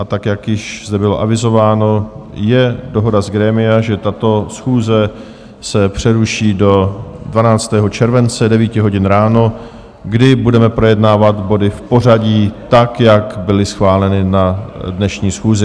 A tak jak již zde bylo avizováno, je dohoda z grémia, že tato schůze se přeruší do 12. července 9 hodin ráno, kdy budeme projednávat body v pořadí tak, jak byly schváleny na dnešní schůzi.